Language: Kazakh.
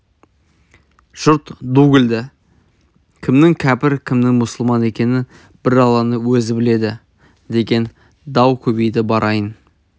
жұрт ду күлді кімнің кәпір кімнің мұсылман екенін бір алланың өзі біледі деген дау көбейді барайын